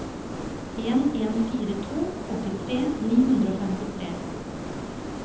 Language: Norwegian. en en fire to åttitre ni hundre og femtitre